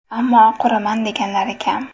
Ammo quraman deganlari kam.